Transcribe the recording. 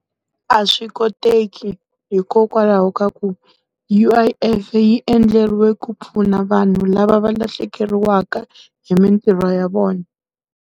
A swi koteki hikokwalaho ka ku, U_I_F yi endleriwe ku pfuna vanhu lava va lahlekeriwaka hi mintirho ya vona.